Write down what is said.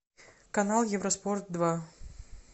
канал евроспорт два